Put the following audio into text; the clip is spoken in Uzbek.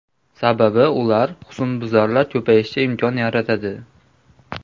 Sababi ular husnbuzarlar ko‘payishiga imkon yaratadi.